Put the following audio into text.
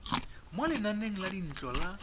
mo lenaneng la dintlo la